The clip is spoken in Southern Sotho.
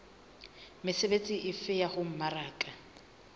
mesebetsi efe ya ho mmaraka